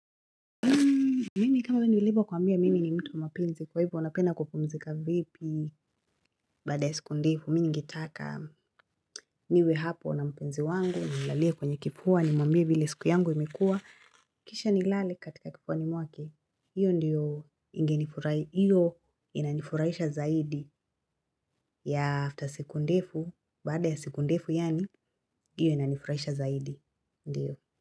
Mimi kama nilivyokuambia mimi ni mtu mapenzi kwa hivyo unapenda kupumzika vipi. Baada ya siku ndefu mimi ningetaka niwe hapo na mpenzi wangu nimlalie kwenye kifua nimwambie vile siku yangu imekuwa. Kisha ni lale katika kifuani mwake hiyo ndiyo inanifurahisha zaidi ya after siku ndefu baada ya siku ndefu yaani hiyo ina nifurahisha zaidi ndiyo.